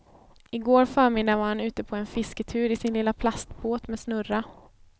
I går förmiddag var han ute på en fisketur i sin lilla plastbåt med snurra.